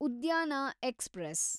ಉದ್ಯಾನ ಎಕ್ಸ್‌ಪ್ರೆಸ್